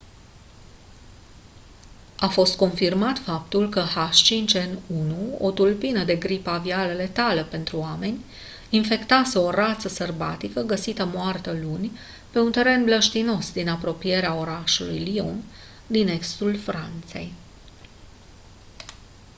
a fost confirmat faptul că h5n1 o tulpină de gripă aviară letală pentru oameni infectase o rață sălbatică găsită moartă luni pe un teren mlăștinos din apropierea orașului lyon din estul franței